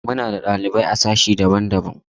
Muna da ɗalibai a sashe daban-daban.